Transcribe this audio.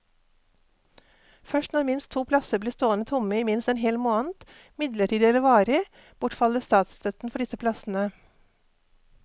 Først når minst to plasser blir stående tomme i minst en hel måned, midlertidig eller varig, bortfaller statsstøtten for disse plassene.